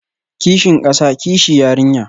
Kishin kasa, kishi yarinya